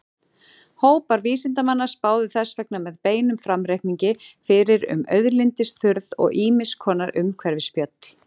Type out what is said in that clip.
Hópar vísindamanna spáðu þess vegna með beinum framreikningi fyrir um auðlindaþurrð og ýmiss konar umhverfisspjöll.